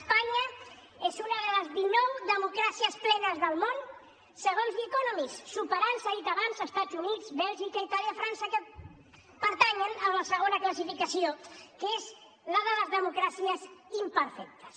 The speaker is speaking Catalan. espanya és una de les dinou democràcies plenes del món segons the economist i supera s’ha dit abans estats units bèlgica itàlia frança que pertanyen a la segona classificació que és la de les democràcies imperfectes